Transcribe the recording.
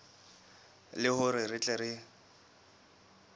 le hore re tle re